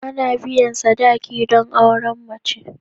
Ana biyan sadaki don auren mace.